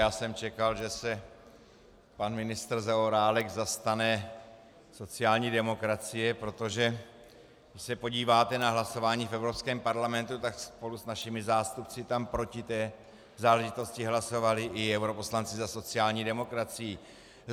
Já jsem čekal, že se pan ministr Zaorálek zastane sociální demokracie, protože když se podíváte na hlasování v Evropském parlamentu, tak spolu s našimi zástupci tam proti té záležitosti hlasovali i europoslanci za sociální demokracii.